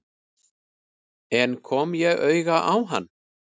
En kom ég auga á hann?